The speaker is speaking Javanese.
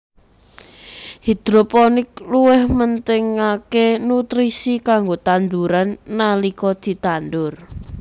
Hidroponik luwih mentingaké nutrisi kanggo tanduran nalika ditandur